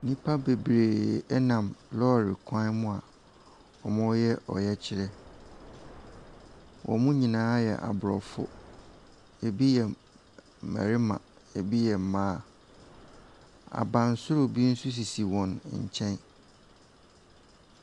Nnipa bebree nam lɔre kwan mu a wɔreyɛ ɔyɛkyerɛ. Wɔn nyinaa yɛ aborɔfo. Ebi yɛ mmarima, ebi yɛ mmaa. Abansoro bi nso sisi wɔn nkyɛn.